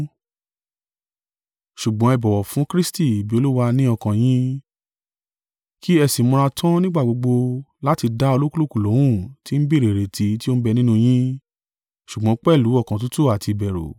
Ṣùgbọ́n ẹ bọ̀wọ̀ fún Kristi bí Olúwa ní ọkàn yín: kí ẹ sì múra tan nígbà gbogbo láti dá olúkúlùkù lóhùn tí ń béèrè ìrètí tí o ń bẹ nínú yín, ṣùgbọ́n pẹ̀lú ọkàn tútù àti ìbẹ̀rù.